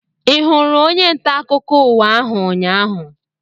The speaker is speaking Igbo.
Ị hụrụ onye ntaakụkọ ụwa ahụ ụnyaahụ?